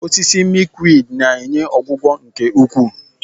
Osisi Milkweed na-enye ọgwụgwọ nke ukwuu.